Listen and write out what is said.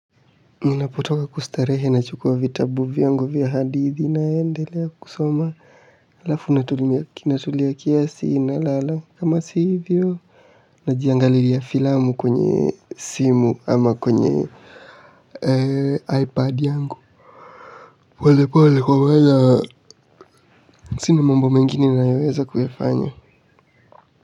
Ninapotoka kustarehe nachukua vitabu vyangu vya hadithi naendelea kusoma halafu kinatulia kiasi nalala, kama si hivyo najiangalilia filamu kwenye simu, ama kwenye ipad yangu pole pole kwaweza, sina mambo mengine ninayoweza kuyafanya.